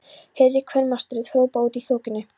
heyrist kvenmannsrödd hrópa úti í þokunni.